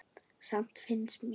Samt finnst mér.